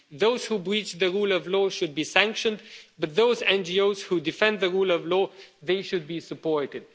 Those who breach the rule of law should be sanctioned, but those NGOs who defend the rule of law, they should be supported.